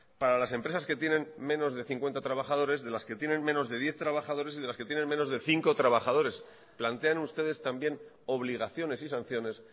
para las empresas que tienen menos de cincuenta trabajadores de las que tienen menos de diez trabajadores y de las que tienen menos de cinco trabajadores plantean ustedes también obligaciones y sanciones